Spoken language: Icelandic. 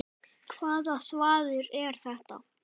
Hvaða þvaður er þetta?